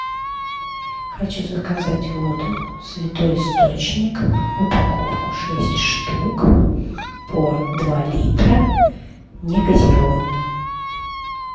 хочу заказать воду святой источник упаковку шесть штук по два литра негазированную